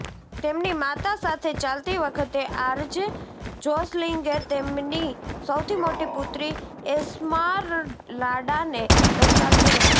તેમની માતા સાથે ચાલતી વખતે આરજે જોસલિંગે તેમની સૌથી મોટી પુત્રી એસ્મારલાડાને દર્શાવ્યું હતું